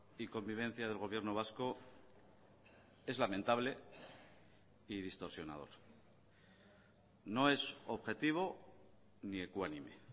y convivencia del gobierno vasco es lamentable y distorsionador no es objetivo ni ecuánime